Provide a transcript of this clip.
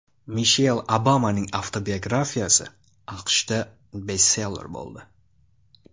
Mishel Obamaning avtobiografiyasi AQShda bestseller bo‘ldi.